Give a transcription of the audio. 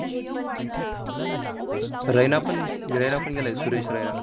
रैनापण अह रैनापण गेलाय, सुरेश रैना.